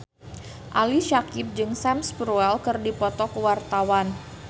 Ali Syakieb jeung Sam Spruell keur dipoto ku wartawan